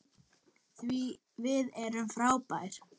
Því við erum frábær.